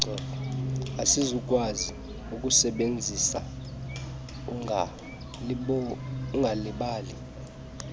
asizukukwazi ukusisebenzisa ungalibali